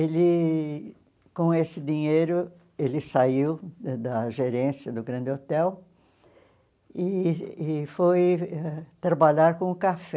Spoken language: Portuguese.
Ele, com esse dinheiro, ele saiu da gerência do grande hotel e e foi trabalhar com o café.